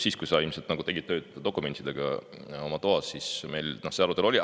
Siis, kui sina ilmselt töötasid dokumentidega oma toas, oli meil see arutelu siin.